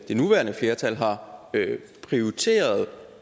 nuværende flertal har prioriteret